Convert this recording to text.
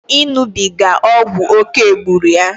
Iṅụbiga ọgwụ oké gburu ya